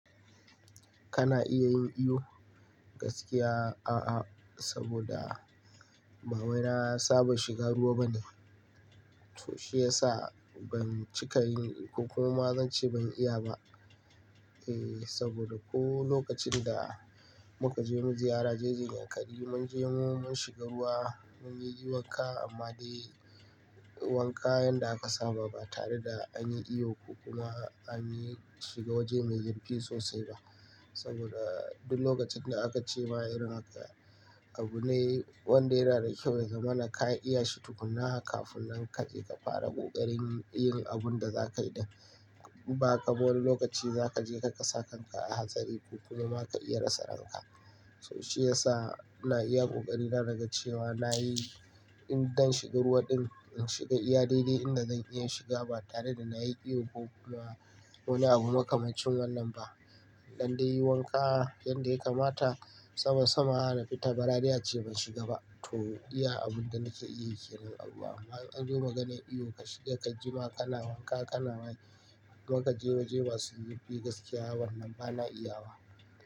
Kana iya yin iyo? Gaskiya a'a, saboda ba wai na saba shiga ruwa bane. To shi yasa ban cika yin ko kuma ma zan ce ban iya ba. E, saboda ko lokacin da muka je mu ziyara jeji Yankari mun je mun shiga ruwa mun yi wanka amma dai wanka yanda aka saba ba tare da an yi iyo ko kuma an yi shiga waje mai zurfi sosai ba. Saboda duk lokacin da aka ce ma irin haka abu ne wanda yana da kyau ya zamana ka iya shi tukunna kafin nan ka je ka fara ƙoƙarin yin abun da za kayi din in ba haka ba, wani lokaci za ka je kasa kanka a hatsari ko kuma ka iya rasa ranka. To shi ya sa ina iya ƙoƙari na naga cewa na yi in don shiga ruwa din in shiga iya daidai inda zan iya shiga ba tare da na yi iyo ko kuma wani abu makamacin wannan ba. In dan dai yi wanka yanda yakamata sama sama ba za dai ace ban shiga ba to iya abinda nake yi kenan a ruwa amma in an zo maganar iyo ka shiga ka jima kana wanka kana waye ko kaje waje masu zurfi gaskiya wannan bana iyawa.